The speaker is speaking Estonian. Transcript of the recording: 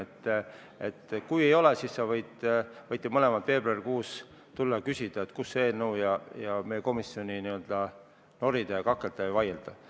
Kui seda ettepanekut ei tule, siis sa võid – võite mõlemad – veebruarikuus tulla ja küsida, kus see eelnõu on, ning meie komisjoniga n-ö norida, kakelda ja vaielda.